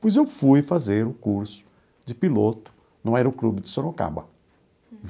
Pois eu fui fazer o curso de piloto no Aeroclube de Sorocaba.